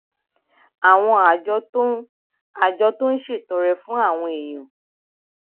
àwọn àjọ tó àjọ tó ń ṣètọrẹ fún àwọn èèyàn